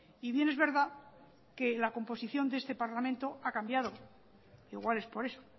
y bien es verdad que la composición de este parlamento ha cambiado igual es por eso